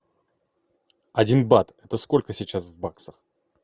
один бат это сколько сейчас в баксах